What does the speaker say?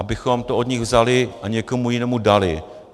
Abychom to od nich vzali a někomu jinému dali.